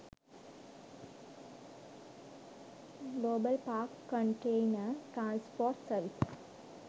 global park container transport services